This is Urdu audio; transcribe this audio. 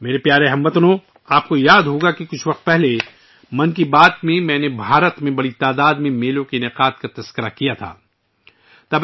میرے پیارے ہم وطنو، آپ کو یاد ہوگا کہ کچھ عرصہ پہلے ، میں نے ' من کی بات ' میں بھارت میں بڑے پیمانے پر میلوں کے انعقاد کے بارے میں بات کی تھی